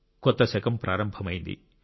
కొత్త శకం ప్రారంభమయింది